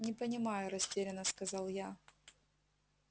не понимаю растерянно сказал я